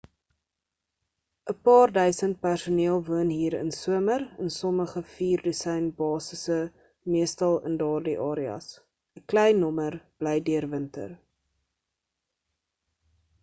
'n paar duisend personeel woon hier in somer in sommige vier dosyn basise meestal in daardie areas 'n klein nommer bly deur winter